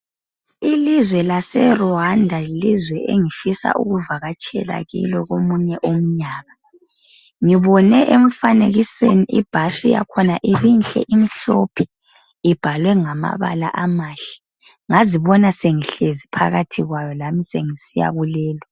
Ilizwe lase Rwanda yilizwe engifisa ukuvakatshela kilo komunye umnyaka ngibone emfanekisweni ibhasi yakhona ibinhle imhlophe ibhalwe ngamabala amahle ngazibona sengihlezi phakathi kwayo lami sengisiya kulelo.